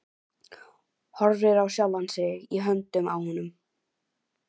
Horfir á sjálfa sig í höndunum á honum.